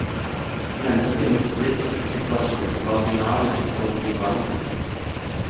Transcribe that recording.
Menneskenes livssituasjon var dynamisk og i forandring.